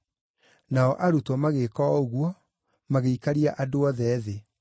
Nao arutwo magĩĩka o ũguo, magĩikaria andũ othe thĩ.